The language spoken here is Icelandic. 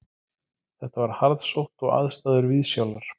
Þetta var harðsótt og aðstæður viðsjálar